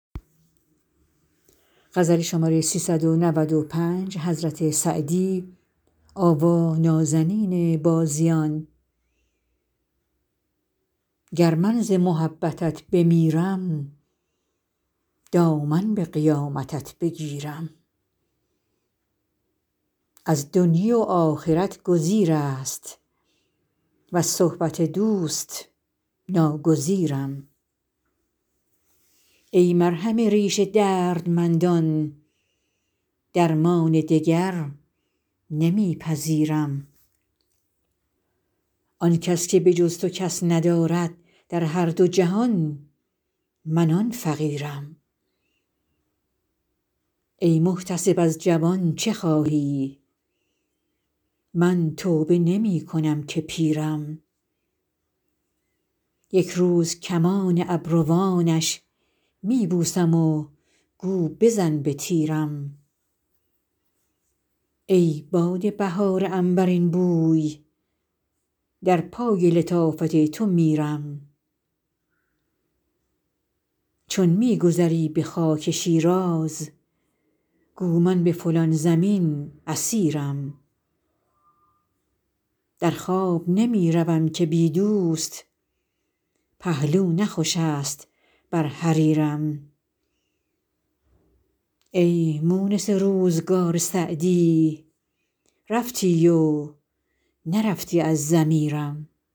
گر من ز محبتت بمیرم دامن به قیامتت بگیرم از دنیی و آخرت گزیر است وز صحبت دوست ناگزیرم ای مرهم ریش دردمندان درمان دگر نمی پذیرم آن کس که به جز تو کس ندارد در هر دو جهان من آن فقیرم ای محتسب از جوان چه خواهی من توبه نمی کنم که پیرم یک روز کمان ابروانش می بوسم و گو بزن به تیرم ای باد بهار عنبرین بوی در پای لطافت تو میرم چون می گذری به خاک شیراز گو من به فلان زمین اسیرم در خواب نمی روم که بی دوست پهلو نه خوش است بر حریرم ای مونس روزگار سعدی رفتی و نرفتی از ضمیرم